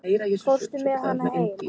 Fórstu með hana heim?